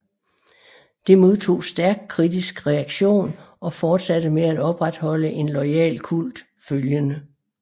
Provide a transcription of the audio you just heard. Det modtog stærkt kritisk reaktion og fortsatte med at opretholde en loyal kult følgende